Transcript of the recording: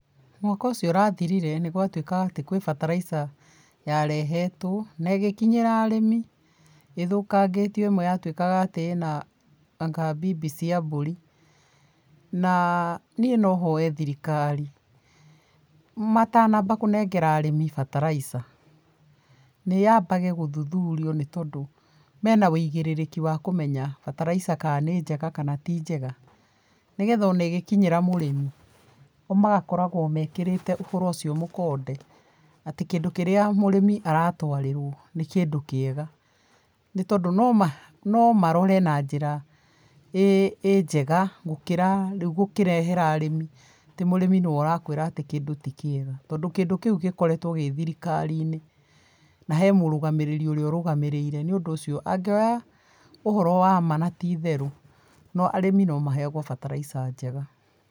Mwaka ũcio ũrathirire nĩgwatuikaga atĩ kwĩ bataraica yarehetwo na ĩgĩkinyĩra arĩmi ĩthũkangĩtio ĩmwe yatuĩkaga atĩ ĩna anga bibi cia mburi. Na niĩ no hoe thirikari, matanamba kũnengera arĩmĩ bataraica, nĩyambage gũthuthurio nĩ tondũ mena wĩigĩrĩrĩki wa kũmenya bataraitha ka nĩnjega kana ti njega. Nĩgetha ona ĩgĩkinyĩra mũrĩmi o magakoragwo mekĩrĩte ũhoro ũcio mũkonde atĩ kĩndũ kĩrĩa mũrĩmi aratwarĩrwo nĩ kindũ kĩega. Nĩtondũ noma nomarore na njĩra ĩ ĩ njega gũkĩra rĩũ gũkĩrehera arĩmi atĩ mũrĩmi nĩwe arakwĩra atĩ kĩndũ ti kĩega, tondũ kĩndũ kĩũ gĩkoretwo kĩ thirikarini, na he mũrũgamĩrĩri ũrĩa ũrũgamĩrĩire. Nĩũndũ ũcio angioya ũhoro wa ma na ti itherũ, arĩmi no maheagwo bataraica njega.